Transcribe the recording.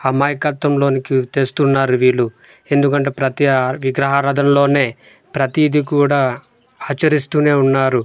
అమాయకత్వంలోనికి తెస్తున్నారు వీళ్ళు ఎందుకంటే ప్రతి ఆ విగ్రహారాధనలోనే ప్రతిదీ కూడా ఆచరిస్తూనే ఉన్నారు.